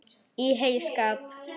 Í heyskap